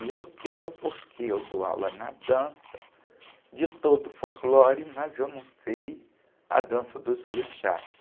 E eu quero porque eu dou aula na dança de todo o folclore, mas eu não sei a dança dos orixás.